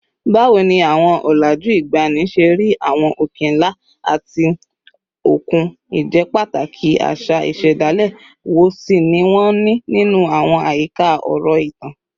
Báwo ni àwọn ọ̀làjú ìgbàanì ṣe rí àwọn òkè ńlá àti òkun, ìjẹ́pàtàkì àṣà ìṣẹ̀dálẹ̀ wo sì ni wọ́n ní nínú àwọn àyíká ọ̀rọ̀ ìtàn?